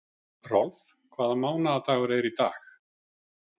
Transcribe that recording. Rolf, hvaða mánaðardagur er í dag?